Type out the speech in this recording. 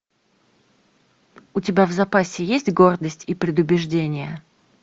у тебя в запасе есть гордость и предубеждение